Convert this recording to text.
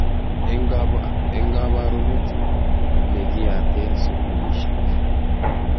Eng kabarunet ne kiyate sukulishek.